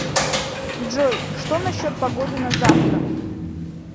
джой что насчет погоды на завтра